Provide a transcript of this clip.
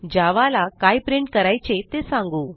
जावा ला काय प्रिंट करायचे ते सांगू